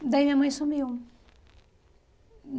Daí minha mãe sumiu.